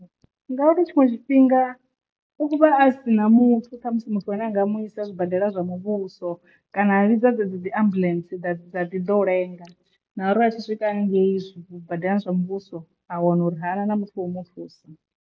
Ngauri tshiṅwe tshifhinga u vha a si na muthu ṱhamusi muthu ane a nga mu isa zwibadela zwa muvhuso kana a vhidza dze dzi dzi ambuḽentse dza dzi ḓa u lenga na uri a tshi swika haningei zwibadela zwa muvhuso a wana uri hana na muthu wa mu thusa.